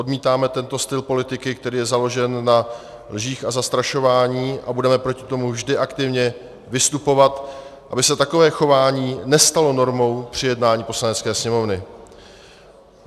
Odmítáme tento styl politiky, který je založen na lžích a zastrašování, a budeme proti tomu vždy aktivně vystupovat, aby se takové chování nestalo normou při jednání Poslanecké sněmovny.